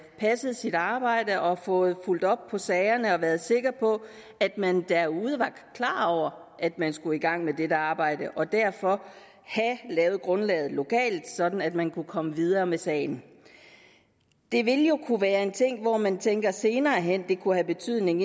passet sit arbejde og fået fulgt op på sagerne og været sikker på at man derude var klar over at man skulle i gang med dette arbejde og derfor have lavet grundlaget lokalt sådan at man kunne komme videre med sagen det ville jo kunne være en ting hvor man tænker at det senere hen kunne have betydning